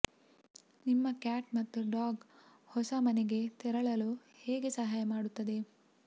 ನಿಮ್ಮ ಕ್ಯಾಟ್ ಮತ್ತು ಡಾಗ್ ಹೊಸ ಮನೆಗೆ ತೆರಳಲು ಹೇಗೆ ಸಹಾಯ ಮಾಡುತ್ತದೆ